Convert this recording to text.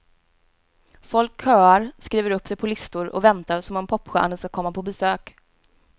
Folk köar, skriver upp sig på listor och väntar som om popstjärnor ska komma på besök.